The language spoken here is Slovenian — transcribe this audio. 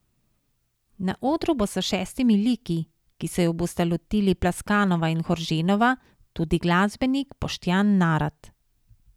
Na odru bo s šestimi liki, ki se ju bosta lotili Plaskanova in Horženova, tudi glasbenik Boštjan Narat.